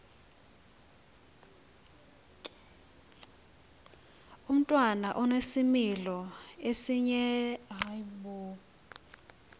umntwana onesimilo esinjeya